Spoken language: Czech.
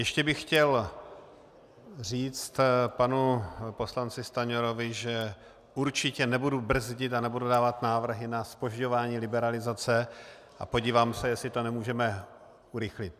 Ještě bych chtěl říct panu poslanci Stanjurovi, že určitě nebudu brzdit a nebudu dávat návrhy na zpožďování liberalizace a podívám se, jestli to nemůžeme urychlit.